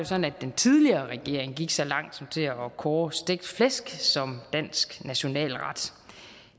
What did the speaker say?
sådan at den tidligere regering gik så langt som til at kåre stegt flæsk som dansk nationalret